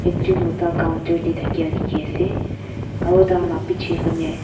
ekjon moto counter te thaki dekhi ase aru tar laga piche fane.